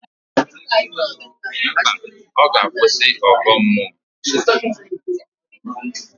Mba, ọ ga-akwụsị ọgọ mmụọ